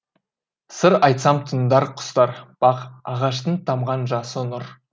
сыр айтсам тыңдар құстар бақ ағаштың тамған жасы нұр